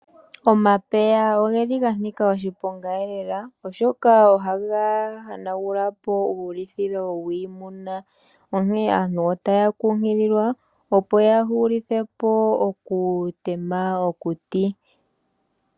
Omapeya oge li ga nika oshiponga lela oshoka ohaga hanagulapo uulithilo wiimuna. Onkene aantu otaya kunkililwa opo ya hulithe po oku tema omililo mokuti.